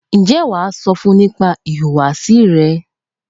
Ǹjẹ́ wàá sọ fún nípa ìhùwàsí rẹ?